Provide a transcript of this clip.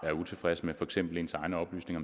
utilfreds med for eksempel ens egne oplysninger